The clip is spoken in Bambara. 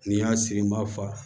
N'i y'a sigi n b'a fa